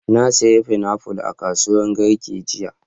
Na sayi fainafu a kasuwar Garki jiya.